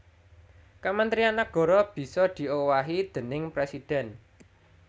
Kementrian nagara bisa diowahi déning presidhèn